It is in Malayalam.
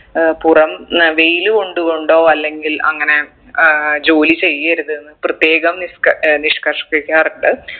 ഏർ പുറം ന്ന വെയില് കൊണ്ട് കൊണ്ടോ അല്ലെങ്കിൽ അങ്ങനെ ഏർ ജോലി ചെയ്യരുത്ന്ന് പ്രത്യേകം നിഷ് ഏർ നിഷ്കർഷിക്കാറുണ്ട്